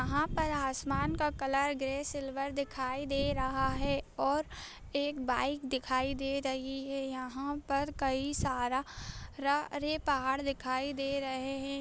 वहां पर आसमान का कलर ग्रे सिल्वर दिखाई दे रहा है और एक बाइक दिखाई दे रही है यहां पर कई सारा रे पहाड़ दिखाई दे रहे हैं |